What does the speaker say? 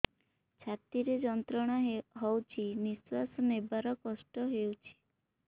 ଛାତି ରେ ଯନ୍ତ୍ରଣା ହଉଛି ନିଶ୍ୱାସ ନେବାରେ କଷ୍ଟ ହଉଛି